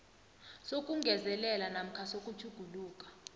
sokungezelela namkha sokutjhugulula